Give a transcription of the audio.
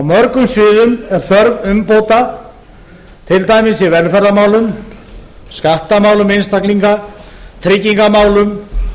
mörgum sviðum er þörf umbóta til dæmis í velferðarmálum skattamálum einstaklinga tryggingamálum